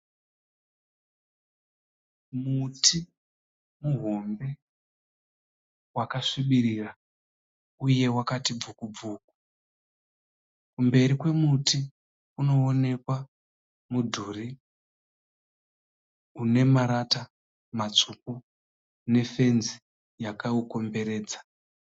Muti muhombe , wakasvibirira uye wakati bvukubvu . Kumberi kwemuti kunoonekwa mudhuri unemarata matsvuku ne fenzi yakaukomberedza.